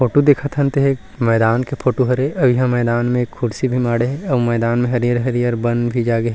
Photo देखत हन तेह एक मैदान के फोटो हरे अऊ इहाँ मैदान में कुर्सी भी माड़हे हे अऊ मैदान हरियर-हरियर बन भी जागे हे।